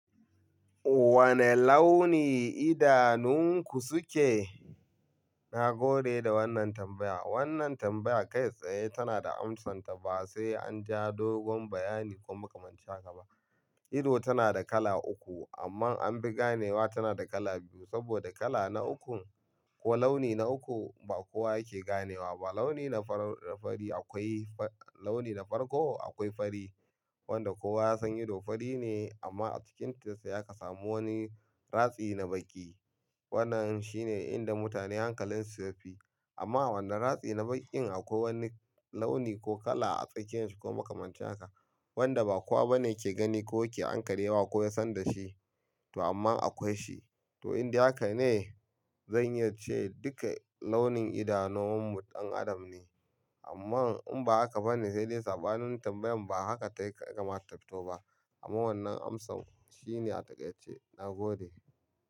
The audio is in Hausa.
Wane launi idanunku suke? Na gode da wannan tambaya. Wannan tambaya kai tsaye tana da amsanta ba sai an ja dogon bayani ko makamancin haka ba. Ido tana da kala uku amma an fi ganewa tana da kala biyu saboda kala na uku ko launi na uku ba kowa yake ganewa ba. Launi na farko akwai fari wanda kowa ya san ido fari ne amma a cikinta sai aka samu wani ratsi na baƙi. Wannan shi ne inda mutane hankalinsu yafi. Amma wannan ratsi na baƙin akwai wani launi ko kala a tsakiyanshi ko makamanta haka wanda ba kowa bane ke gani ko yake ankarewa wa ko ya san da shi to amma akwai shi. To in dai haka ne zan iya ce duka launin idanomu ɗan adam ne amma in ba aka bane sai dai saɓanin tambayan ba haka ta kamata a ta fito ba. Amma wannan amsa shine a takaice. Na gode.